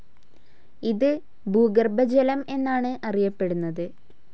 ഇത് ഭൂഗർഭജലം എന്നാണു അറിയപ്പെടുന്നത്.